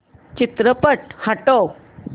चित्रपट हटव